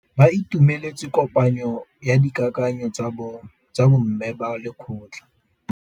Ba itumeletse kôpanyo ya dikakanyô tsa bo mme ba lekgotla.